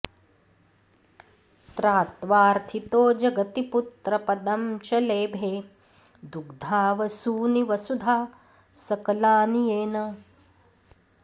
त्रात्वाऽर्थितो जगति पुत्रपदं च लेभे दुग्धा वसूनि वसुधा सकलानि येन